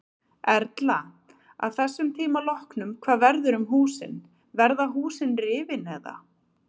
Erla: Að þessum tíma loknum hvað verður um húsin, verða húsin rifin eða?